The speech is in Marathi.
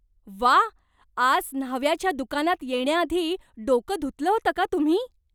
व्वा! आज न्हाव्याच्या दुकानात येण्याआधी डोकं धुतलं होतं का तुम्ही?